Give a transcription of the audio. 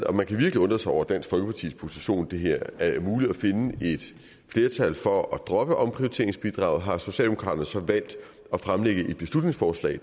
og man kan virkelig undre sig over dansk folkepartis position i det her er muligt at finde et flertal for at droppe omprioriteringsbidraget har socialdemokraterne så valgt at fremsætte et beslutningsforslag